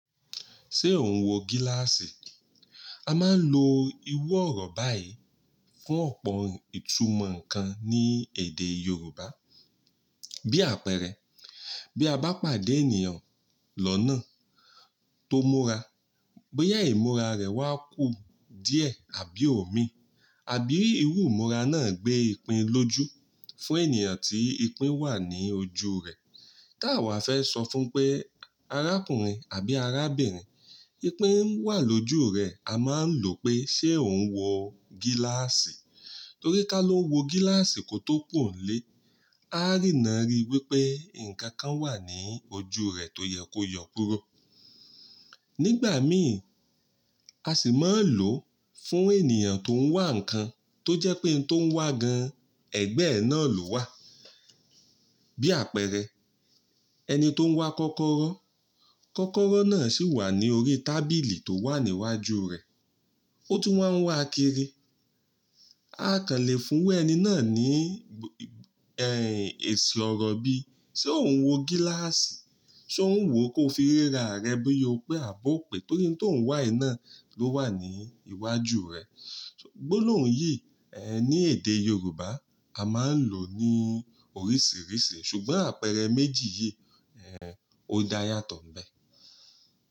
Ṣé ò ún wo gíláàsì? A máa ń lo iwọ̀ ọ̀rọ̀ báyìí fún ọ̀pọ̀ ìtumọ̀ kan ní èdè Yorùbá. Bí àpẹẹrẹ, bí a bá pàdé ènìyàn lọ́nà tó múra, bóyá ìmúra rẹ̀ wá kù díẹ̀ àbí omi, àbí irú ìmúra náà gbé ìpín lójú fún ènìyàn tí ìpín wà ní ojú rẹ̀. Ká wà fẹ́ sọ fún pé arákùnrin àbí arábìnrin, ìpín wà lójú rẹ̀, a máa ń lo pé ṣé ò ún wo gíláàsì? Torí ká lọ wo gíláàsì kó tó kùnlé, a rí náà ri wípé ǹkan kan wà ní ojú rẹ̀ tó yẹ kó yọ̀ kúrò. Nígbà miì, a sì máa ń lò ó fún ènìyàn tó ń wá ǹkan tó jẹ́ pé ohun tó ń wá gan, ẹ̀gbẹ́ ẹ̀ náà ló wà. Bí àpẹẹrẹ, ẹni tó ń wá kọ́kọ́rọ́, kọ́kọ́rọ́ náà sì wà ní orí tábìlì tó wà níwájú rẹ̀, ó tún máa ń wá kiri. A kàn lè fún ẹni náà ní, ẹ́, èsì ọ̀rọ̀ bí, ṣé ò ún wo gíláàsì? Ṣé ò ún wò ó ko fi ríra rẹ bí ó pé àbọ̀ pé torí ohun tó ń wá iná ló wà ní iwájú rẹ. Gbolohùn yìí, ẹ́, ní èdè Yorùbá, a máa ń lò ó ní oríṣìíríṣìí ṣùgbọ́n àpẹẹrẹ méjì yìí, ẹ́, ó dá yàtọ̀ níbẹ̀.